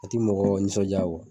A ti mɔgɔ nisɔndiya